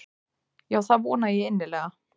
Já það vona ég innilega.